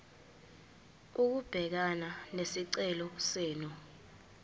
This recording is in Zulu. ukubhekana nesicelo senu